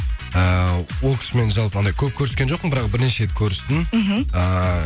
эээ ол кісі мен жалпы андай көп қөріскен жоқпын бірақ бір неше рет көрістім мхм